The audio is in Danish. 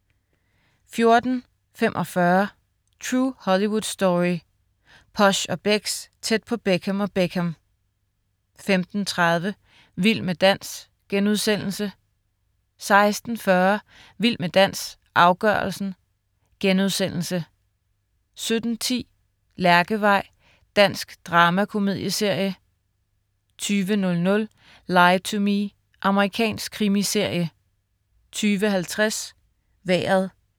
14.45 True Hollywood Story. Posh & Becks, tæt på Beckham og Beckham 15.30 Vild med dans* 16.40 Vild med dans, afgørelsen* 17.10 Lærkevej. Dansk dramakomedieserie 20.00 Lie to Me. Amerikansk krimiserie 20.50 Vejret